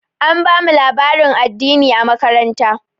An bamu labarin addini a makaranta.